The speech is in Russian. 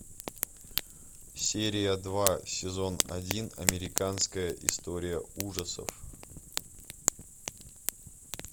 серия два сезон один американская история ужасов